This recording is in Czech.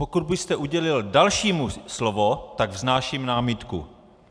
Pokud byste udělil dalšímu slovo, tak vznáším námitku.